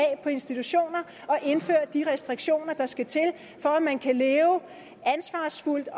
på institutionerne at indføre de restriktioner der skal til for at man kan leve ansvarsfuldt